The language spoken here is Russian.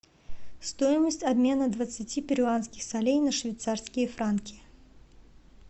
стоимость обмена двадцати перуанских солей на швейцарские франки